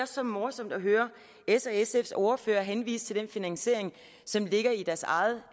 så morsomt at høre ss og sfs ordfører henvise til den finansiering som ligger i deres eget